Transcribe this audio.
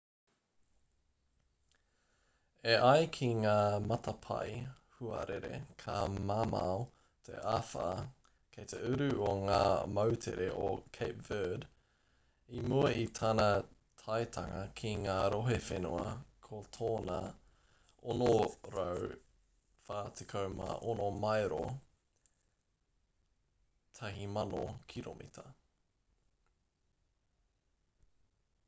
e ai ki ngā matapae huarere ka mamao te āwha kei te uru o ngā moutere o cape verde i mua i tana taetanga ki ngā rohe whenua ko tōna 646 maero 1,000 kiromita,